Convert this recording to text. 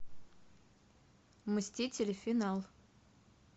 мстители финал